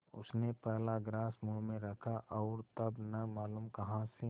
उसने पहला ग्रास मुँह में रखा और तब न मालूम कहाँ से